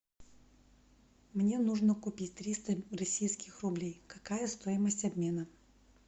мне нужно купить триста российских рублей какая стоимость обмена